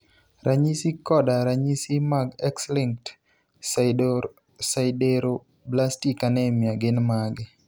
Ranyisi koda ranyisi mag X-linked sideroblastic anemia gin mage?